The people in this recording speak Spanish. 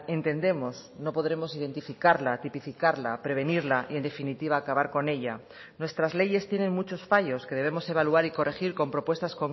entendemos no podremos identificarla tipificarla prevenirla y en definitiva acabar con ella nuestras leyes tienen muchos fallos que debemos evaluar y corregir con propuestas